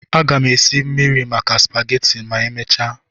Aga m esi mmiri maka supageti ma emechaa.